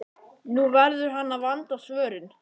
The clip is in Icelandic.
Nú verður hann að vanda svörin.